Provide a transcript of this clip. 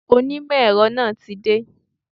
Ṣé onímọ̀ èrọ náà tí dé?